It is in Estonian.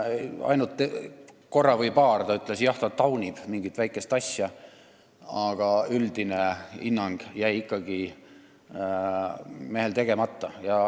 Ainult korra või paar ta ütles, et jah, ta taunib mingit väikest asja, aga üldine hinnang jäi mehel ikkagi andmata.